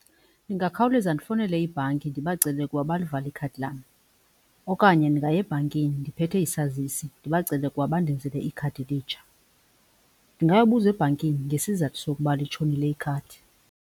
Ndingakhawuleza ndifowunele ibhanki ndibacele ukuba balivale ikhadi lam okanye ndingaya ebhankini ndiphethe isazisi ndibacele ukuba bandenzele ikhadi elitsha. Ndingayobuza ebhankini ngesizathu sokuba litshonile ikhadi.